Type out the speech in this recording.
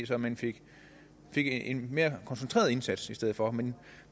så man fik fik en mere koncentreret indsats i stedet for men